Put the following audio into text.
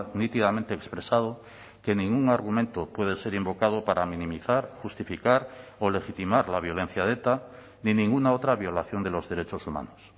nítidamente expresado que ningún argumento puede ser invocado para minimizar justificar o legitimar la violencia de eta ni ninguna otra violación de los derechos humanos